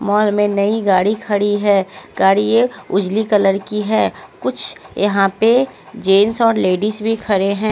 Mall में नई गाड़ी खड़ी है गाड़ी ये उजली कलर की है कुछ यहाँ पे जेंस और लेडीज भी खड़े हैं।